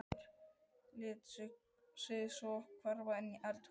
Lét sig svo hverfa inn í eldhús.